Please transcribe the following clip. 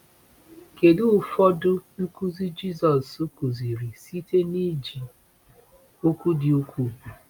Kedu ụfọdụ nkuzi Jisọs kụziri site n’iji okwu dị ukwuu?